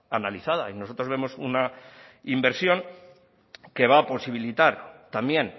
analizada y nosotros vemos una inversión que va a posibilitar también